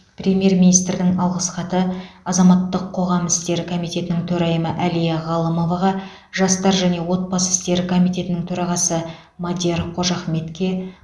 премьер министрдің алғыс хаты азаматтық қоғам істері комитетінің төрайымы әлия ғалымоваға жастар және отбасы істері комитетінің төрағасы мадияр қожахметке